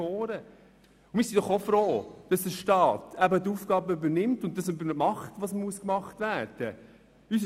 Wir sind doch auch froh, dass der Staat die Aufgabe übernimmt und das tut, was getan werden muss.